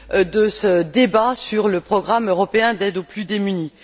de ce débat sur le programme européen d'aide aux plus démunis.